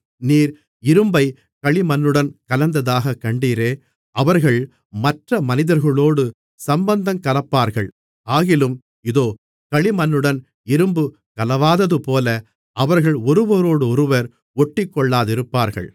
நீர் இரும்பைக் களிமண்ணுடன் கலந்ததாகக் கண்டீரே அவர்கள் மற்ற மனிதர்களோடு சம்பந்தங்கலப்பார்கள் ஆகிலும் இதோ களிமண்ணுடன் இரும்பு கலவாததுபோல அவர்கள் ஒருவரோடொருவர் ஒட்டிக்கொள்ளாதிருப்பார்கள்